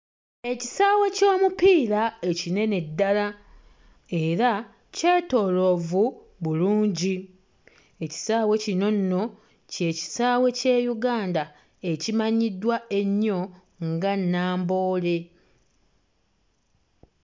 Ekisaawe ky'omupiira ekinene ddala era kyetooloovu bulungi. Ekisaawe kino nno kye kisaawe ky'e Uganda ekimanyiddwa ennyo nga Namboole.